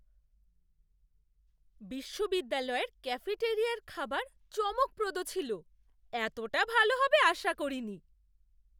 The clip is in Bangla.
বিশ্ববিদ্যালয়ের ক্যাফেটারিয়ার খাবার চমকপ্রদ ছিল। এতটা ভালো হবে আশা করিনি।